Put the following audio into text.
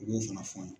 U b'o fana fɔ